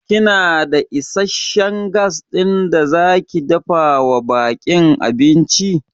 Kina da isasshen Gas ɗin da zaki dafawa ɓakin abinci?